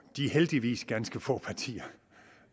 de heldigvis ganske få partier